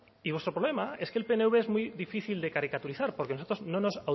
y vuestro problema es que el pnv es muy difícil de caricaturizar porque nosotros no nos